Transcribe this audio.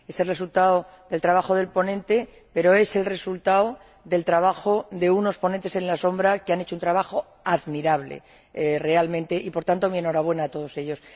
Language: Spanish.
Es el resultado del trabajo del ponente, pero también es el resultado del trabajo de unos ponentes alternativos que han hecho un trabajo admirable realmente, y, por tanto, mi enhorabuena a todos ellos.